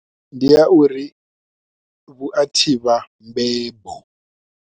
Ndi ya uri vhu a thivha mbembo.